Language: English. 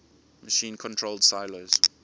machine controlled silos